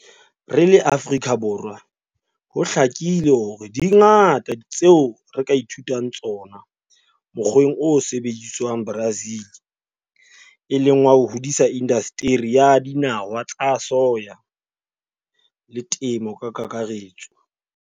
Re le Afrika Borwa, ho hlakile hore di ngata tseo re ka ithutang tsona mokgweng o sebediswang Brazil, e leng wa ho hodisa indasteri ya dinawa tsa soya le temo ka kakaretso.